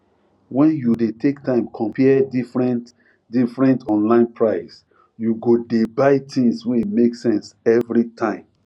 when you dey take time compare differentdifferent online price you go dey buy things wey make sense every time